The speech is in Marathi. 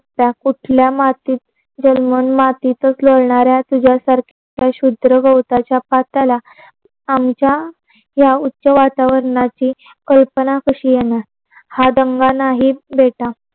कुठल्या मातीत जलमून मातीतच लोळणाऱ्या तुझ्या सारखा क्षुद्र गवताच्या पात्याला, आमच्या या उच्च वातावरणाची कल्पना कशी येणार? हा दंगा नाही बेटा